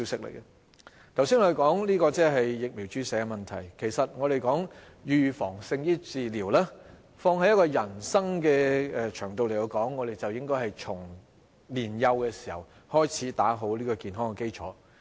我們剛才談及疫苗注射的問題，其實我們說"預防勝於治療"，放在人生的場道來說，我們便應該從年幼開始打好健康基礎。